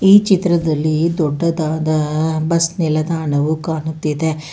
ಈ ಚಿತ್ರದಲ್ಲಿ ದೊಡ್ಡದಾದ ಬಸ್ ನಿಲ್ದಾಣವು ಕಾಣುತ್ತಿದೆ.